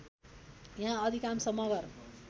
यहाँ अधिकांश मगर